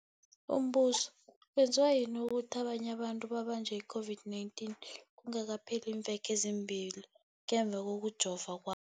Umbuzo, kwenziwa yini ukuthi abanye abantu babanjwe yi-COVID-19 kungakapheli iimveke ezimbili ngemva kokujova kwa